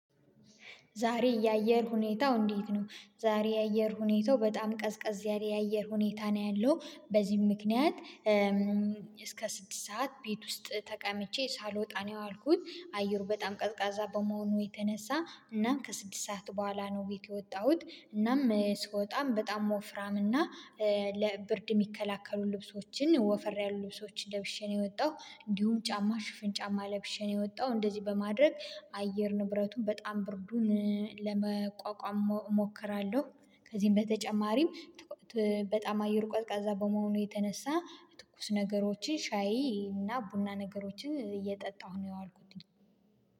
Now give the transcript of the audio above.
ዛሬ የአየር ሁኔታው እንዴት ነው? ዛሬ የአየር ሁኔታው በጣም ቀዝቀዝ ያለ የአየር ሁኔታ ነው ያለው በዚህም ምክንያት እስከ ስድስት ሰዓት ቤት ውስጥ ተቀምጬ ሳልወጣ ነው የዋልኩት አየሩ በጣም ቀዝቃዛ በመሆኑ የተነሳ እናም ከስድስት ሰዓት በኋላ ነው ቤት የወጣሁት እናም ስወጣም በጣም ወፍራም እና ለብርድ የሚከላከሉ ልብሶችን ወፍር ያሉ ልብሶችን ለብሼ ነው የወጣሁት እንዲሁም ጫማ ሽፍን ጫማ ለብሼ ነው የወጣሁት እንደዚህ በማድረግ አየር ንብረቱን በጣም ብርዱን ለመቋቋም እሞክራለሁ። ከዚህም በተጨማሪም በጣም አየር ቀዝቃዛ በመሆኑ የተነሳ ትኩስ ነገሮችን ሻይ እና ቡና ነገሮችን እየጠጣሁ ነው የዋልኩት።